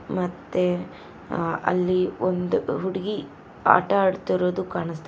ಮತ್ತೆ ಆ ಅಲ್ಲಿ ಒಂದು ಹುಡುಗಿ ಆಟ ಆಡ್ತಿರೋದು ಕಾಣಿಸ್ತಾಯಿದೆ.